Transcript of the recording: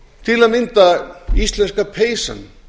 til að mynda íslenska peysan